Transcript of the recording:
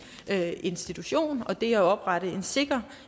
institution og det at oprette en sikker